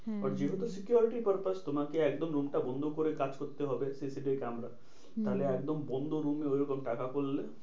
হ্যাঁ যেহেতু হ্যাঁ security purpose তোমাকে একদম room টা বন্ধ করে কাজ করতে হবে CCTV camera. তাহলে একদম বন্ধ room এ ওইরকম টাকা করলে